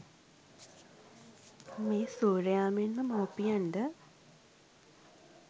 මේ සූර්යයා මෙන්ම මවුපියන්ද